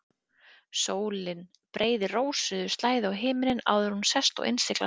Sólin breiðir rósrauða slæðu á himininn áður en hún sest og innsiglar stundina.